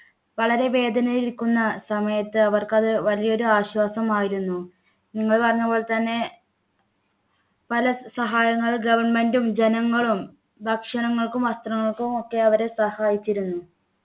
വളരെ വേദനയിലിരിക്കുന്ന സമയത്ത് അവർക്ക് അത് വലിയൊരു ആശ്വാസമായിരുന്നു നിങ്ങൾ പറഞ്ഞപോലെ തന്നെ പല സഹായങ്ങൾ government ഉം ജനങ്ങളും ഭക്ഷണങ്ങൾക്കും വസ്ത്രങ്ങൾക്കും ഒക്കെ അവര് സഹായിച്ചിരുന്നു